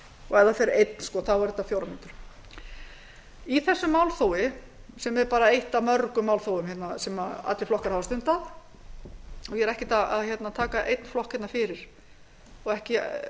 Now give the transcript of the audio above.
fer í andsvar er tíminn átta mínútur í heildina málþófið í september er bara eitt af mörgum dæmum um málþóf sem allir flokkar hafa stundað ekki einungis stjórnarandstaða dagsins í dag heldur líka stjórnarandstöður fyrri tíma þannig að